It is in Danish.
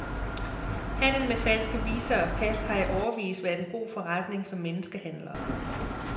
Handel med falske visa og pas har i årevis været en god forretning for menneskehandlere.